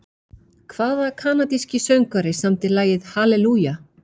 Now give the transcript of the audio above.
Hvaða kanadíski söngvari samdi lagið Hallelujah?